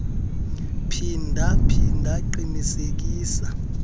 phinda phinda qinisekisa